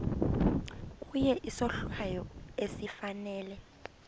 kuye isohlwayo esifanele